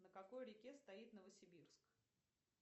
на какой реке стоит новосибирск